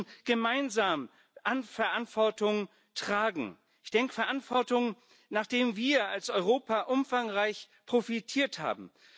Wir müssen gemeinsam Verantwortung tragen Verantwortung, nachdem wir als Europa umfangreich profitiert haben.